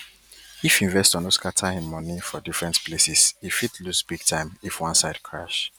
if investor no scatter him money for different places e fit lose big time if one side crash